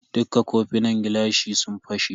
Dukka kofina na gilashi sun fashe.